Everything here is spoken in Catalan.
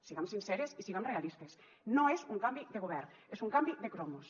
siguem sinceres i siguem realistes no és un canvi de govern és un canvi de cromos